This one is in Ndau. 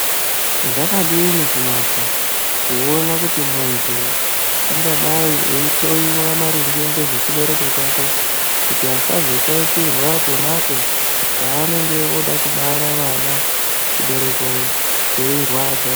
Zvakadini kunaka kuona kuti munhu ungadayi eihloyiwa maringe ngezvechibereko chake kuti asazoshaishirwa pona apo paanenge ooda kubara vana, chibereko cheirwadza.